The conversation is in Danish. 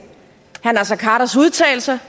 herre naser khaders udtalelse